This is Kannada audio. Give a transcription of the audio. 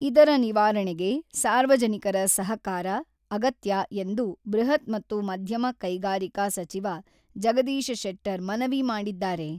ಇದರ ನಿವಾರಣೆಗೆ ಸಾರ್ವಜನಿಕರ ಸಹಕಾರ ಅಗತ್ಯ ಎಂದು ಬೃಹತ್ ಮತ್ತು ಮಧ್ಯಮ ಕೈಗಾರಿಕಾ ಸಚಿವ ಜಗದೀಶ ಶೆಟ್ಟರ್ ಮನವಿ ಮಾಡಿದ್ದಾರೆ.